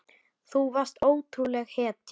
Þú varst ótrúleg hetja.